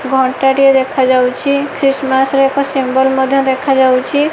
ଘଣ୍ଟାଟିଏ ଦେଖା ଯାଉଛି ଖ୍ରୀଷ୍ଟମାସ୍ ରେ ଏକ ସିମ୍ୱଲ ମଧ୍ୟ ଦେଖା ଯାଉଚି।